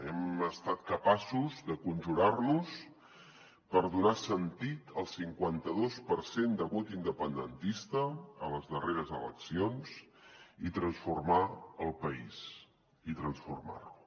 hem estat capaços de conjurar nos per donar sentit al cinquanta dos per cent de vot independentista a les darreres eleccions i transformar el país i transformar lo